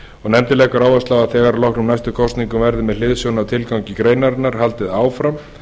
nefndin leggur áherslu á að þegar að loknum næstu kosningum verði með hliðsjón af tilgangi greinarinnar haldið áfram